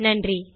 நன்றி